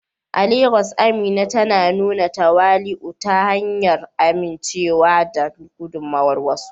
A Legas, Amina tana nuna tawali'u ta hanyar amincewa da gudummawar wasu.